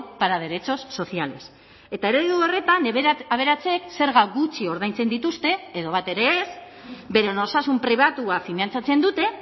para derechos sociales eta eredu horretan aberatsek zerga gutxi ordaintzen dituzte edo bat ere ez beren osasun pribatua finantzatzen dute